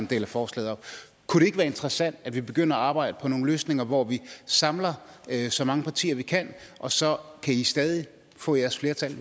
deler forslaget op kunne det ikke være interessant at vi begyndte at arbejde på nogle løsninger hvor vi samler så mange partier vi kan og så kan i stadig få jeres flertal